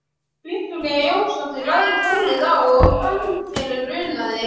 Viktoría Jónsdóttir lagði tólið á og fann fyrir unaði.